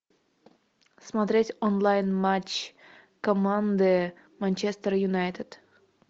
смотреть онлайн матч команды манчестер юнайтед